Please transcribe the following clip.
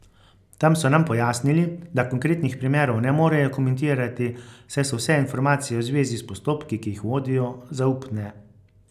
Tam so nam pojasnili, da konkretnih primerov ne morejo komentirati, saj so vse informacije v zvezi s postopki, ki jih vodijo, zaupne.